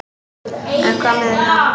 En hvað með það?